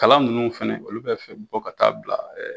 Kalan minnu fana olu bɛ fɛ bɔ ka taa bila